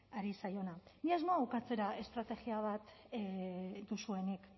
ari zaiona ni ez noa ukatzera estrategia bat duzuenik